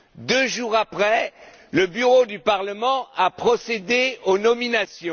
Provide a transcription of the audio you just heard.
Deux jours après, le Bureau du Parlement a procédé aux nominations.